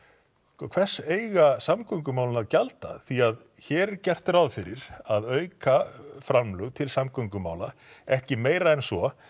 hvers eiga samgöngumálin að gjalda því hér er gert ráð fyrir að auka framlög til samgöngumála ekki meira en svo